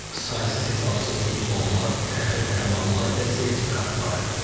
Saysız-hesabsız diplomlar, fəxri fərmanlar və sertifikatlar.